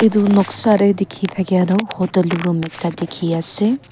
etu noksa dae tiki takya tu hotel room ekta tiki ase.